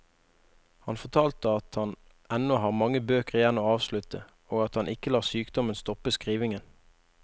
Han fortalte han at han ennå har mange bøker igjen å avslutte, og at han ikke lar sykdommen stoppe skrivingen.